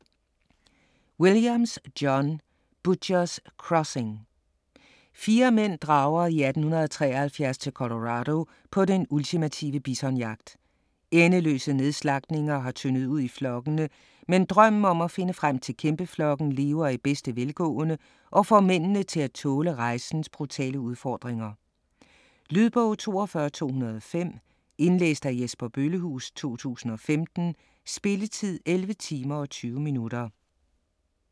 Williams, John: Butcher's Crossing Fire mænd drager i 1873 til Colorado på den ultimative bisonjagt. Endeløse nedslagtninger har tyndet ud i flokkene, men drømmen om at finde frem til kæmpeflokken lever i bedste velgående og får mændene til at tåle rejsens brutale udfordringer. Lydbog 42205 Indlæst af Jesper Bøllehuus, 2015. Spilletid: 11 timer, 20 minutter.